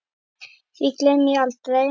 Því gleymi ég aldrei.